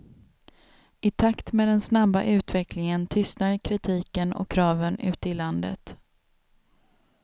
I takt med den snabba utvecklingen tystnar kritiken och kraven ute i landet.